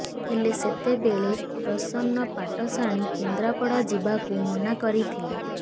ହେଲେ ସେତେବେଳେ ପ୍ରସନ୍ନ ପାଟ୍ଟଶାଣୀ କେନ୍ଦ୍ରାପଡା ଯିବାକୁ ମନା କରିଥିଲେ